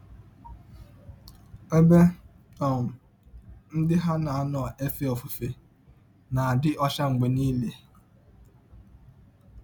Ebe um ndị ha na - anọ efe ọfụfe na - adị ọcha mgbe niile.